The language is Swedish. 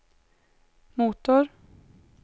motor